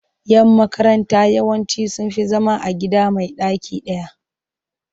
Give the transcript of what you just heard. Yan makaranta yawanci sun fi zama a gida mai ɗaki ɗaya.